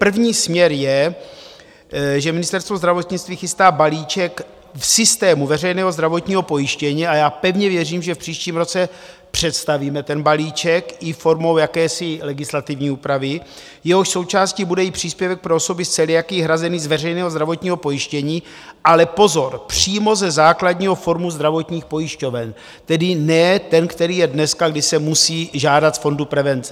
První směr je, že Ministerstvo zdravotnictví chystá balíček v systému veřejného zdravotního pojištění, a já pevně věřím, že v příštím roce představíme ten balíček i formou jakési legislativní úpravy, jehož součástí bude i příspěvek pro osoby s celiakií hrazený z veřejného zdravotního pojištění, ale pozor, přímo ze základního fondu zdravotních pojišťoven, tedy ne ten, který je dneska, kdy se musí žádat z Fondu prevence.